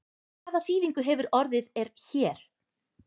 Hvað þýðingu hefur orðið er hér?